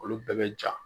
Olu bɛɛ bɛ ja